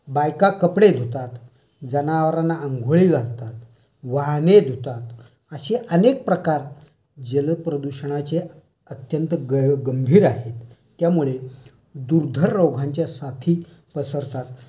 बायका कपडे धुतात. जनावरांना अंघोळी घालतात. वाहने धुतात. असे अनेक प्रकार जल प्रदूषणाचे अत्यंत गंभीर आहेत. त्यामुळे दुर्धर रोगांच्या साथी पसरतात.